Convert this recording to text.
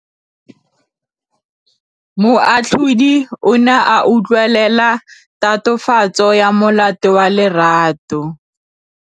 Moatlhodi o ne a utlwelela tatofatsô ya molato wa Lerato.